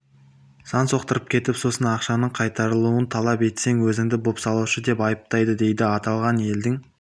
сан соқтырып кетіп сосын ақшаңның қайтарылуын талап етсең өзіңді бопсалаушы деп айыптайды дейді аталған елдің